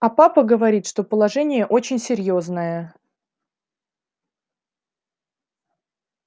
а папа говорит что положение очень серьёзное